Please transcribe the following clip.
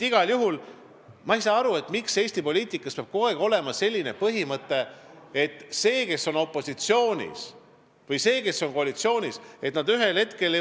Igal juhul ma ei saa aru, miks Eesti poliitikas peab kogu aeg olema selline põhimõte, et see, kes on opositsioonis, ja see, kes on koalitsioonis, on eri pooltel.